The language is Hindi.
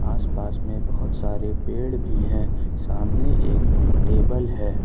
आस पास में बहोत सारे पेड़ भी हैं सामने एक टेबल है।